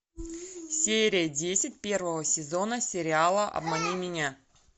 серия десять первого сезона сериала обмани меня